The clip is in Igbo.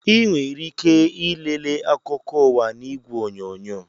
Ị nwere ike ị lele akụkọ ụwa n'igwe onyonyo